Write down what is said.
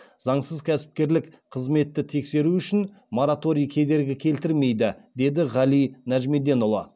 заңсыз кәсіпкерлік қызметті тексеру үшін мораторий кедергі келтірмейді деді ғали нәжімеденұлы